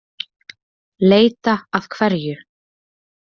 Leita að hverju?